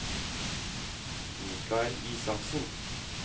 Michael Isaksen